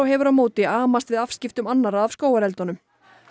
hefur á móti amast við afskiptum annarra af skógareldunum